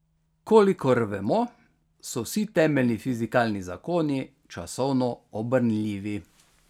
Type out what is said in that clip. Kolikor vemo, so vsi temeljni fizikalni zakoni časovno obrnljivi.